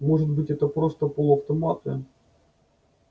может быть это просто полуавтоматы